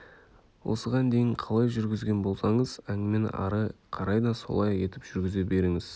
осыған дейін қалай жүргізген болсаңыз әңгімені әрі қарай да солай етіп жүргізе беріңіз